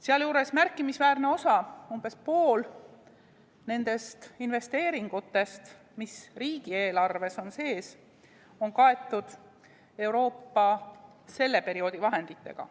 Sealjuures märkimisväärne osa, umbes pool nendest investeeringutest, mis riigieelarves on sees, on kaetud Euroopa selle perioodi vahenditega.